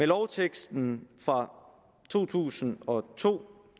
lovteksten fra to tusind og to